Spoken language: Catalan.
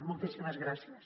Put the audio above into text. moltíssimes gràcies